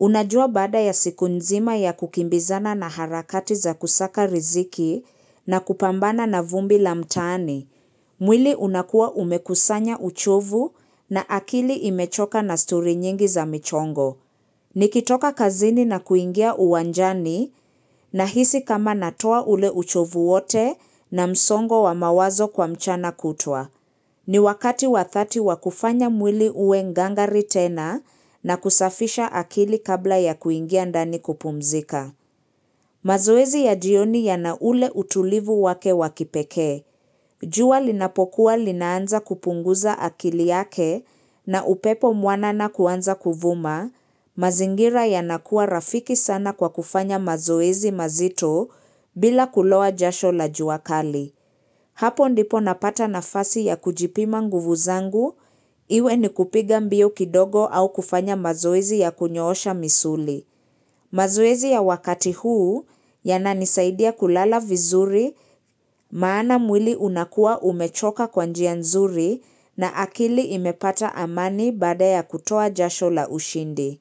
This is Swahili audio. Unajua baada ya siku nzima ya kukimbizana na harakati za kusaka riziki na kupambana na vumbi la mtani. Mwili unakuwa umekusanya uchovu na akili imechoka na stori nyingi za michongo. Nikitoka kazini na kuingia uwanjani nahisi kama natoa ule uchovu wote na msongo wa mawazo kwa mchana kutwa. Ni wakati wa dhati wa kufanya mwili uwe ngangari tena na kusafisha akili kabla ya kuingia ndani kupumzika. Mazoezi ya jioni yana ule utulivu wake wa kipekee. Jua linapokuwa linaanza kupunguza akili yake na upepo mwanana kuanza kuvuma. Mazingira yanakuwa rafiki sana kwa kufanya mazoezi mazito bila kuloa jasho la juakali. Hapo ndipo napata nafasi ya kujipima nguvu zangu, iwe ni kupiga mbio kidogo au kufanya mazoezi ya kunyoosha misuli. Mazoezi ya wakati huu, yananisaidia kulala vizuri, maana mwili unakua umechoka kwa njia nzuri na akili imepata amani baada ya kutoa jasho la ushindi.